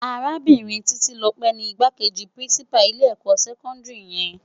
Árábirin Titilope ni Igbákéji Pirinsipá ilé èkò sèkòndiri yèn